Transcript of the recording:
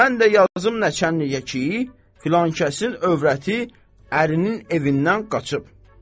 Mən də yazım nəçəninliyə ki, filankəsin övrəti ərinin evindən qaçıb.